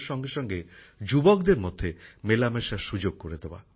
এছাড়াও যুবকযুবতীদের মধ্যে মেলামেশার সুযোগ করে দেওয়া